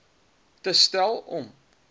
te stel om